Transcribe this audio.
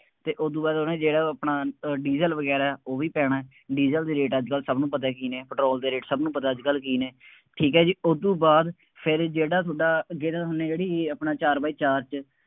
ਫੇਰ ਉਦੋਂ ਬਾਅਦ ਉਹਨੇ ਜਿਹੜਾ ਆਪਣਾ ਅਹ ਡੀਜ਼ਲ ਵਗੈਰਾ, ਉਹ ਵੀ ਪੈਣਾ, ਡੀਜ਼ਲ ਦੇ ਰੇਟ ਅੱਜਕੱਲ੍ਹ ਸਭ ਨੂੰ ਪਤਾ ਕੀ ਨੇ, ਪੈਟਰੋਲ ਦੇ ਰੇਟ ਸਭ ਨੂੰ ਪਤਾ ਅੱਜਕੱਲ ਕੀ ਨੇ, ਠੀਕ ਹੈ ਜੀ, ਉਦੋਂ ਬਾਅਦ ਫੇਰ ਜਿਹੜਾ ਤੁਹਾਡਾ, ਅੱਗੇ ਤਾਂ ਹੁੰਦੇ ਹੋ ਜਿਹੜੀ ਇਹ ਆਪਣਾ ਚਾਰ ਬਾਈ ਚਾਰ ਚ,